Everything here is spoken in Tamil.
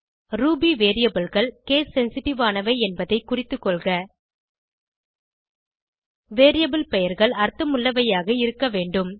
ரூபி variableகள் கேஸ் சென்சிட்டிவ் ஆனவை என்பதை குறித்துக்கொள்க வேரியபிள் பெயர்கள் அர்த்தமுள்ளவையாக இருக்கவேண்டும்